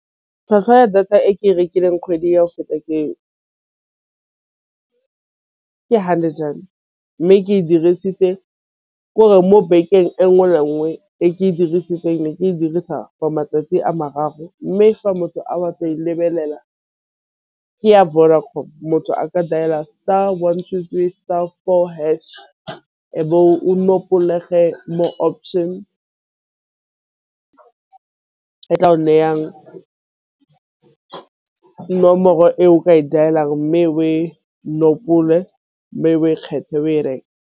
Tlhwatlhwa ya data e ke e rekileng kgwedi ya go feta ke, hundred rand mme ke e dirisitse gore mo bekeng e nngwe le nngwe e ke e dirisitseng e ke e dirisa for matsatsi a mararo. Mme fa motho lebelela ke ya Vodacom motho a ka dailer star one two three star four hash nayang nomoro e o ka e dial-ang mme o e nkgopola o e kgethe o e reke.